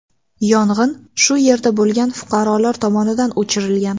Yong‘in shu yerda bo‘lgan fuqarolar tomonidan o‘chirilgan.